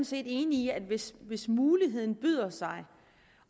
set enig i at hvis hvis muligheden byder sig